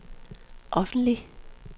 offentlig